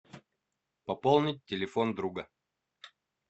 пополнить телефон друга